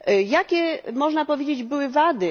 Jakie, można powiedzieć, były wady?